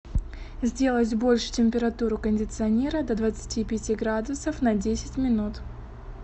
сделать больше температуру кондиционера до двадцати пяти градусов на десять минут